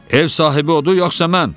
Ev sahibi odur yoxsa mən?